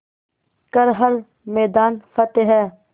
कर हर मैदान फ़तेह